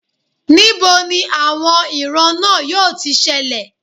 Ní bo ni àwọn ìran náà yóò ti ṣẹlẹ̀